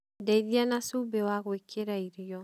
Ndeĩthia na cumbi wa gũĩkĩra irĩo